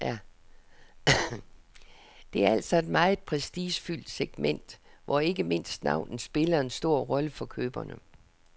Det er altså et meget prestigefyldt segment, hvor ikke mindst navnet spiller en stor rolle for køberne.